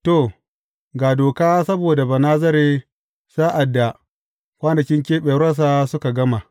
To, ga doka saboda Banazare sa’ad da kwanakin keɓewarsa suka gama.